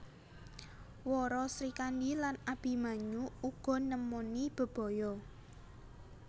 Wara Srikandhi lan Abimanyu uga nemoni bebaya